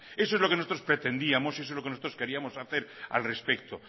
eso es lo que nosotros pretendíamos y eso es lo que nosotros queríamos hacer al respecto